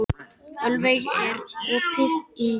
Ölveig, er opið í Stórkaup?